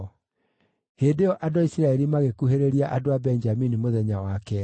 Hĩndĩ ĩyo andũ a Isiraeli magĩkuhĩrĩria andũ a Benjamini mũthenya wa keerĩ.